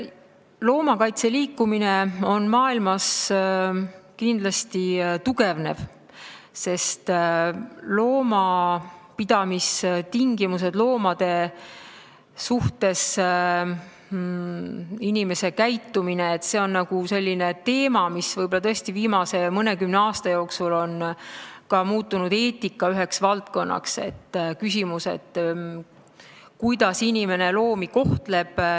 Loomakaitseliikumine maailmas kindlasti tugevneb, sest loomapidamistingimused ja inimeste käitumine loomade suhtes on selline teema, mis võib-olla tõesti viimase mõnekümne aasta jooksul on muutunud ka üheks eetika valdkonnaks, see on küsimus, kuidas inimene loomi kohtleb.